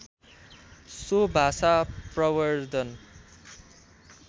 so भाषा प्रवर्द्धन